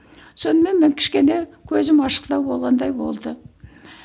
сонымен мен кішкене көзім ашықтау болғандай болды